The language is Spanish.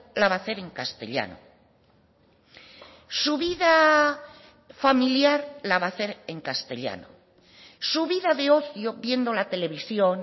la va a hacer en castellano su vida familiar la va a hacer en castellano su vida de ocio viendo la televisión